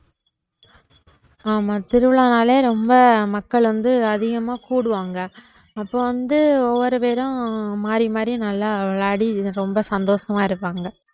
ஆமா திருவிழானாலே ரொம்ப மக்கள் வந்து அதிகமா கூடுவாங்க அப்போ வந்து ஒவ்வொரு பேரும் மாறி மாறி நல்லா விளையாடி ரொம்ப சந்தோஷமா இருப்பாங்க